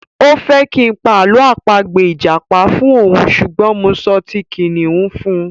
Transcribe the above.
O fẹ́ kí n pa àlọ́ àpagbè ìjàpá fún òun ṣùgbọ́n mo sọ ti kìnnìún fún un.